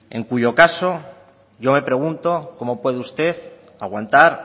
en cuyo caso yo me pregunto cómo puede usted aguantar